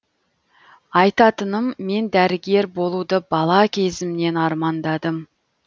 айтатыным мен дәрігер болуды бала кезімнен армандадым